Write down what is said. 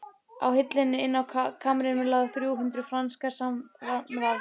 Á hillu inni á kamrinum lágu þrjú hundruð frankar samanvafðir.